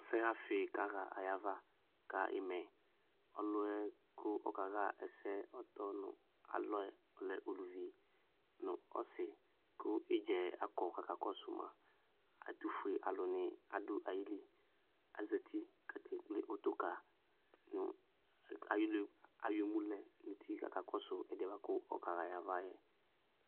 Ɛsɛɣafi kaɣa ayu ava ka ima yɛ Ɔlu yɛ ku ɔkaɣa ɛsɛ ɔlu ɔtɔ nu alɔ yɛ lɛ uluvi nu ɔsi ku idza yɛ akɔ kakɔsu ma Ɛtufue aluni adu ayili aza uti ku akekple utu ka ku ayɔ emu lɛ nu uti ku akakɔsu ɛdi yɛ bua ku ɔkaɣa ayava yɛ